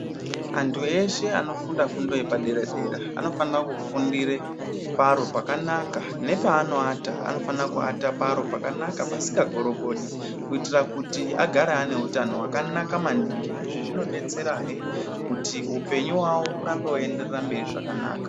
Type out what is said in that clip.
Antu eshe anofunda fundo yepadera-dera anofanira kufundire paro pakanaka nepaanoata anofana kuata paro pakanaka pasika gorogodi kuitira kuti agare ane utano wakanaka maningi. Izvi zvino detserahe kuti upenyu hwawo hurambe weibenderera mberi zvakanaka.